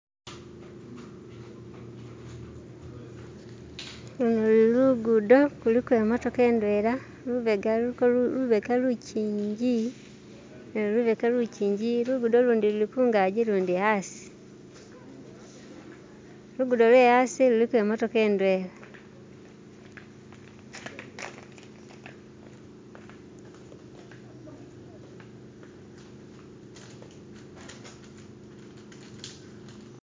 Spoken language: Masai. ulu lugudo ku'liko i'motoka ndwela lubega lukingi, luguudo lundi luli kungaji lundi asi, luguudo lwe'yasi lu'liko i'motoka ndwela